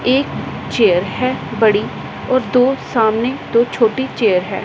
एक चेयर है बड़ी और दो सामने दो छोटी चेयर है।